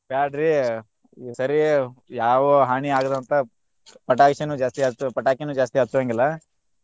ಬ್ಯಾಡ್ರಿ ಸರಿ ಯಾವ ಹಾನಿ ಆಗದಂತಾ ಪಟಾಕ್ಷಿನು ಜಾಸ್ತಿ ಹಚ್ಚ~ ಪಟಾಕಿನು ಜಾಸ್ತಿ ಹಚ್ಚುವಂಗಿಲ್ಲಾ.